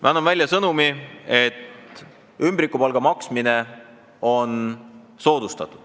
Me anname välja sõnumi, et soodustatakse ümbrikupalga maksmist.